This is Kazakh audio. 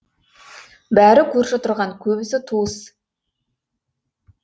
бәрі көрші тұрған көбісі туыс